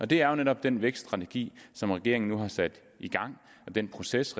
det er jo netop den vækststrategi som regeringen nu har sat i gang og den proces